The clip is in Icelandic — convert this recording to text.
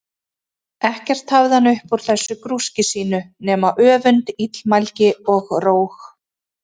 Ekkert hafði hann upp úr þessu grúski sínu nema öfund, illmælgi, og róg.